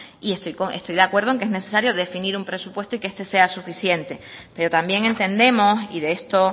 y estoy de acuerdo en que es necesario definir un presupuesto y que este sea suficiente pero también entendemos y de esto